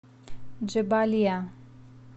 джебалия